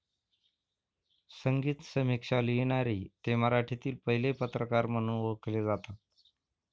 संगीत समीक्षा लिहिणारे ते मराठीतील पहिले पत्रकार म्हणून ओळखले जातात